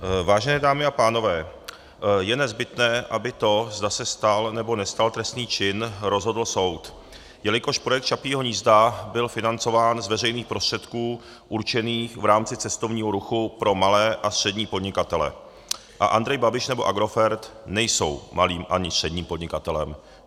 Vážené dámy a pánové, je nezbytné, aby to, zda se stal, nebo nestal trestný čin, rozhodl soud, jelikož projekt Čapího hnízda byl financován z veřejných prostředků určených v rámci cestovního ruchu pro malé a střední podnikatele a Andrej Babiš nebo Agrofert nejsou malým ani středním podnikatelem.